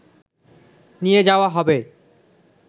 নিয়ে যাওয়া হবে